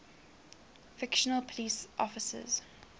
fictional police officers